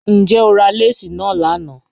Njẹ́ o rà lẹ́sí na lánà?